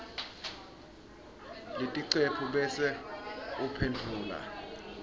leticephu bese uphendvula